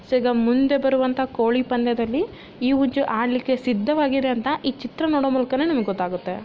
Friends ಹೀಗ ಮುಂದೆ ಬರುವಂತಹ ಕೋಳಿ ಪಂದ್ಯದಲ್ಲಿ ಈ ಹುಂಜ ಆಡಲಿಕ್ಕೆ ಸಿದ್ಧವಾಗಿದೆ ಅಂತ ಈ ಚಿತ್ರ ನೋಡೋ ಮೂಲಕನೇ ನಮಗೆ ಗೊತ್ತಾಗುತ್ತೆ.